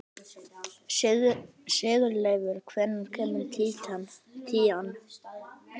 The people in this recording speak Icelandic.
Sigurleifur, hvenær kemur tían?